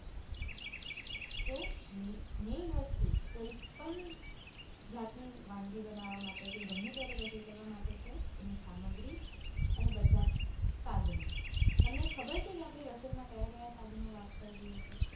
તો main વસ્તુ કોઇ પણ જાતની વાનગી બનાવા માટે કે ગમે ત્યારે રસોઈ કરવા માટે છે એની સામગ્રી અને બધા જ સાધનો. તમને ખબર છે કે આપડે રસોઈ માં કયા કયા સાધનો વાપરીએ છીએ